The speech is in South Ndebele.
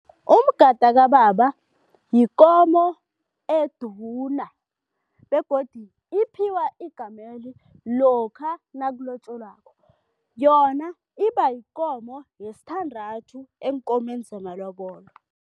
Umgada kababa yikomo eduna begodu iphiwa igameli lokha nakulotjolwako, yona iba yikomo yesithandathu eenkomeni zamalobolo.